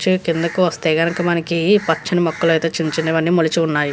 వచ్చి కిందకు వస్తే కనుక మనకి పచ్చని మొక్కలైతే చిన్న చిన్న వన్నీ మొలచి ఉన్నాయి.